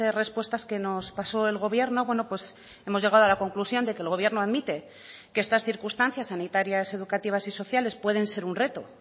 respuestas que nos pasó el gobierno hemos llegado a la conclusión de que el gobierno admite que estas circunstancias sanitarias educativas y sociales pueden ser un reto